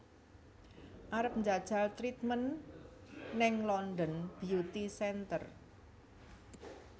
Arep njajal treatment ning London Beauty Center